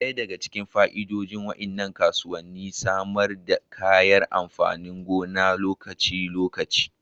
Ɗaya daga cikin fa'idodin waɗannan kasuwanni shine samun kayan amfanin gona na lokaci-lokaci.